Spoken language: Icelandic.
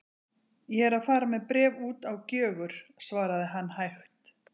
Ég er að fara með bréf út á Gjögur, svaraði hann hægt.